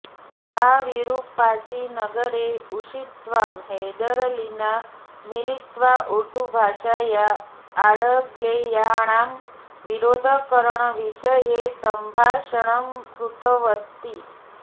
सा विरुप्पाच्ची नगरे उषित्वा हैदरलिना मिलित्वा उर्दुभाषया आङ्ग्लेयाणाम् विरोधकरणविषये सम्भाषणं कृतवती